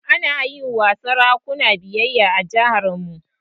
Ana yi wa sarakuna biyayya a jiharmu.